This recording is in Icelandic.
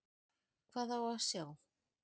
Hvað á að sjá?